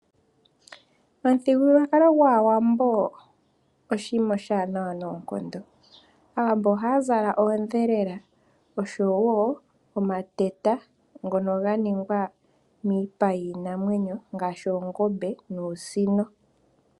Omuthigululwakalo gwawambo oshima oshi wanawa noonkondo. Aawambo ohaya zala oodhelela osho wo omateta ngoka ga ningwa miipa yiinamwenyo ngashi oongombe nuusino.